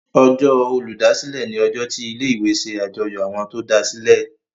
Ọjọ́ Olùdásílẹ̀ ní ojó tí ilé ìwé ṣe àjọyọ̀ Àwọn tó dasilẹ.